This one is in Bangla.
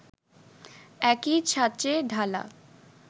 একই ছাঁচে ঢালা